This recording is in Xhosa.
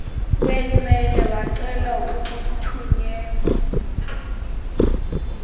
benwele wacela ukuthunyelwa